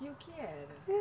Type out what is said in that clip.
E o que era?